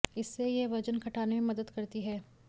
इससे यह वजन घटाने में मदद करती है